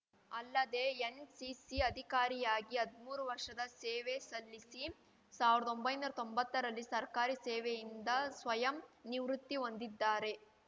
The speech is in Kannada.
ಅಲ್ಲದೆ ಎನ್‌ಸಿಸಿ ಅಧಿಕಾರಿಯಾಗಿ ಹದ್ಮೂರು ವರ್ಷದ ಸೇವೆ ಸಲ್ಲಿಸಿ ಸಾವಿರ್ದೊಂಭೈನೂರಾ ತೊಂಬತ್ತ ರಲ್ಲಿ ಸರ್ಕಾರಿ ಸೇವೆಯಿಂದ ಸ್ವಯಂ ನಿವೃತ್ತಿ ಹೊಂದಿದ್ದಾರೆ